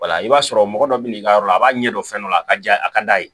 i b'a sɔrɔ mɔgɔ dɔ bɛ n'i ka yɔrɔ la a b'a ɲɛ dɔn fɛn dɔ la a ka di a ka d'a ye